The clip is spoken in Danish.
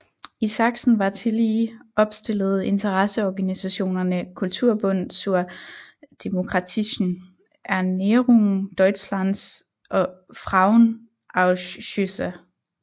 I Sachsen var tillige opstillet interesseorganisationerne Kulturbund zur demokratischen Erneuerung Deutschlands og Frauenausschüsse